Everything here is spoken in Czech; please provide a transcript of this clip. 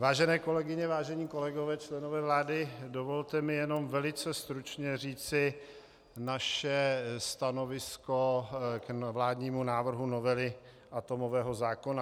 Vážené kolegyně, vážení kolegové, členové vlády, dovolte mi jenom velice stručně říci naše stanovisko k vládnímu návrhu novely atomového zákona.